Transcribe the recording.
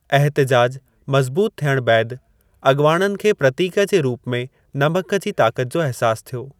एहतिजाजु मज़बूत थियण बैदि, अग॒वाणनि खे प्रतीक जे रूप में नमक जी ताक़त जो एहसास थियो।